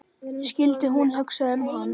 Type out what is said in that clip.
Skyldi hún hugsa um hann?